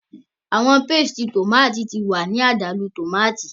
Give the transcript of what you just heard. Awọn pastes tomati ti wa ni adalu tomati